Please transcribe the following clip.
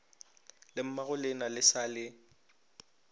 le mmagolena le sa le